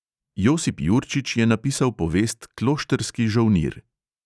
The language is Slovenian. Josip jurčič je napisal povest kloštrski žolnir.